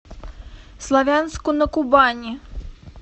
славянску на кубани